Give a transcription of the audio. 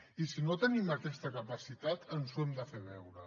i si no tenim aquesta capacitat ens ho hem de fer veure